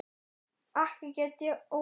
Ekki get ég út